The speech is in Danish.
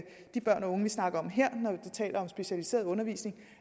de børn og unge vi snakker om her når vi taler om specialiseret undervisning